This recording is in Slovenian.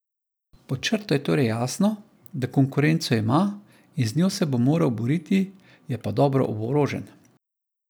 Pod črto je torej jasno, da konkurenco ima in z njo se bo moral boriti, je pa dobro oborožen.